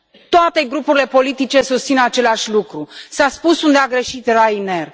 Toate grupurile politice susțin același lucru, s a spus unde a greșit Ryanair.